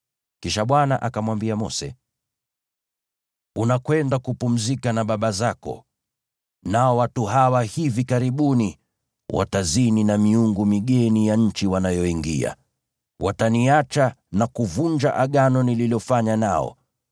Kisha Bwana akamwambia Mose: “Unakwenda kupumzika na baba zako, nao watu hawa hivi karibuni watazini na miungu migeni ya nchi wanayoingia. Wataniacha na kuvunja Agano nililofanya nao.